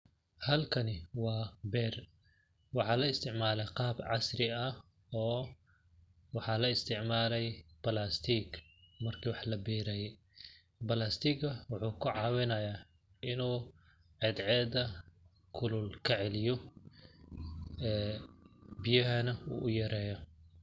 Halkani waa beer ,waxaa la isticmaale qaab casri ah oo waxaa la isticmaalay plastic marki oo wax la beeraye, plastic ga waxuu ka cawinayaa inuu cadceeda kulul ka celiyo ee biyahana uu u yareeyo.